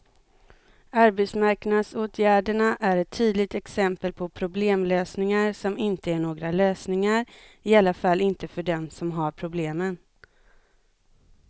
Arbetsmarknadsåtgärderna är ett tydligt exempel på problemlösningar som inte är några lösningar, i alla fall inte för dem som har problemen.